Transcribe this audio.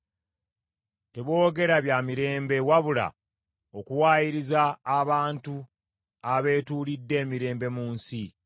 Teboogera bya mirembe, wabula okuwaayiriza abantu abeetuulidde emirembe mu nsi.